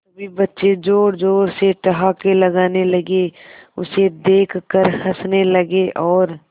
सभी बच्चे जोर जोर से ठहाके लगाने लगे उसे देख कर हंसने लगे और